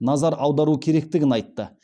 назар аудару керектігін айтты